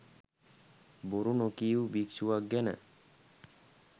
බොරු නොකීව් භික්‍ෂුවක් ගැන.